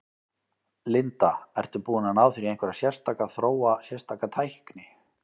Linda: Ertu búinn að ná þér í einhverja sérstaka, þróa sérstaka tækni?